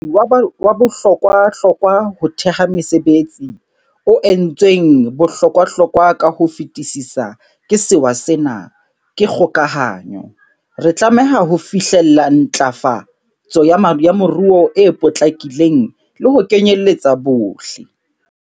Mophethehatsi wa bohlokwahlokwa ho theha mesebetsi, o entsweng bohlokwahlokwa ka ho fetisisa ke sewa sena, ke kgokahanyo. Re tlameha ho fihlella ntlafa tso ya moruo e potlakileng le ho kenyeletsa bohle.